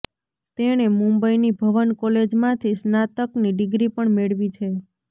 તેણે મુંબઈની ભવન કોલેજમાંથી સ્નાતકની ડિગ્રી પણ મેળવી છે